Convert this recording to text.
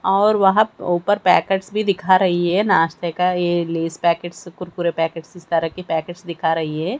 और वहां ऊपर पैकेट्स भी दिखा रही है नाश्ते का ये लेज पैकेट्स से कुरकुरे पैकेट्स इस तरह की पैकेट्स दिखा रही है।